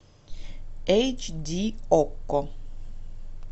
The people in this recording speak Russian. эйч ди окко